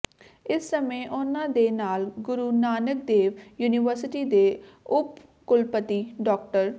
ਇਸ ਸਮੇਂ ਉਨ੍ਹਾਂ ਦੇ ਨਾਲ ਗੁਰੂ ਨਾਨਕ ਦੇਵ ਯੂਨੀਵਰਸਿਟੀ ਦੇ ਉਪ ਕੁਲਪਤੀ ਡਾ